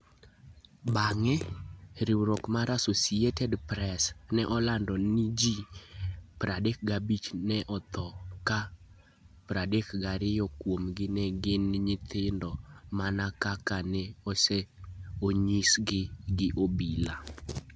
Bang'e, riwruok mar Associated Press ne olando ni ji 35 ne otho, ka 32 kuomgi ne gin nyithindo, mana kaka ne onyisgi gi obila.